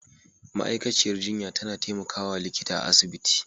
ma'aikaciyar jinya tAna temaka wa likita a asibiti